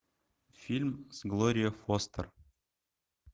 фильм с глорией фостер